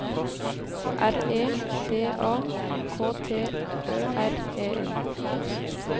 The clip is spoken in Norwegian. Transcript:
R E D A K T Ø R E N